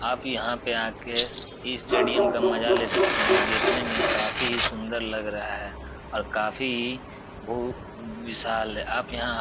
आप यहाँ पे आके इस स्टेडियम का मजा ले सकते हैं जो देखने में काफी सुन्दर लग रहा है और काफी भू विशाल आप यहाँ --